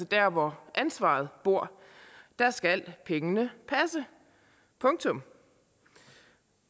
der hvor ansvaret bor skal pengene passe punktum